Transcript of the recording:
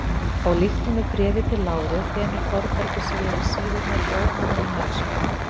Og líkt og með Bréfi til Láru þenur Þórbergur sig yfir síðurnar í óhaminni mælsku.